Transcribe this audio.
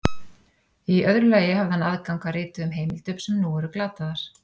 Í öðru lagi hafði hann aðgang að rituðum heimildum sem nú eru glataðar.